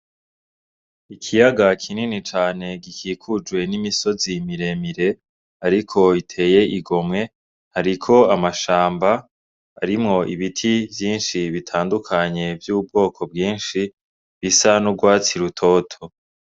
Ikiyaga kinini cane gikikujwe n'imisozi miremire ariko iteye igomwe, hariko amashamba arimwo ibiti vyinshi bitandukanye vy'ubwoko bwinshi bisa n'ugwatsi rutoto.